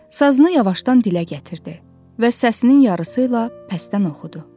Sazını yavaşdan dilə gətirdi və səsinin yarısıyla pəstdən oxudu.